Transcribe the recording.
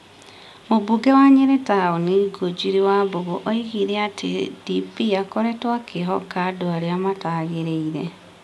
Mũmbunge wa Nyerĩ Town Ngũnjiri Wambũgũ oigire atĩ DP akoretwo akĩĩhoka andũ arĩa mataagĩrĩire ,